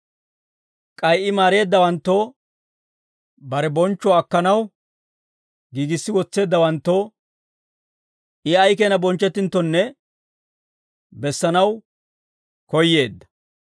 K'ay I maareeddawanttoo, bare bonchchuwaa akkanaw giigissi wotseeddawanttoo I ay keenaa bonchchettinttonne bessanaw koyyeedda.